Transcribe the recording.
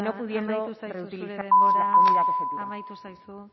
zaizu zure denbora